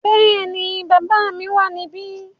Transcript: Bẹ́ẹ̀ni, bàbá mi wà níbí.